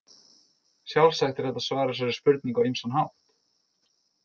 Sjálfsagt er hægt að svara þessari spurningu á ýmsan hátt.